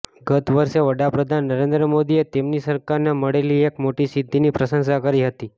ગત વર્ષે વડા પ્રધાન નરેન્દ્ર મોદીએ તેમની સરકારને મળેલી એક મોટી સિદ્ધિની પ્રશંસા કરી હતી